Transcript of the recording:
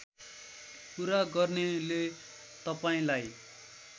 कुरा गर्नेले तपाईँलाई